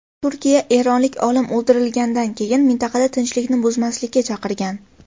Turkiya eronlik olim o‘ldirilganidan keyin mintaqada tinchlikni buzmaslikka chaqirgan .